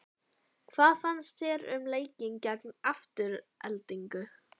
Hvað fannst þér um leikinn gegn Aftureldingu?